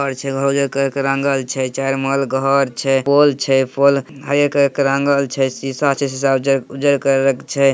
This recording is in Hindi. घर रंगल छे | चार माला घर छे पोल छे पोल आगे करे के रंगेल छे सीसा छे सीसा उज्जर कलर के छे।